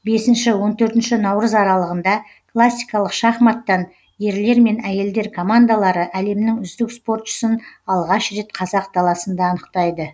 бесінші он төртінші наурыз аралығында классикалық шахматтан ерлер мен әйелдер командалары әлемнің үздік спортшысын алғаш рет қазақ даласында анықтайды